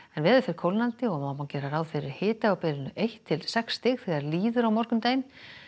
veður fer kólnandi og má víða gera ráð fyrir hita á bilinu eitt til sex stig þegar líður á morgundaginn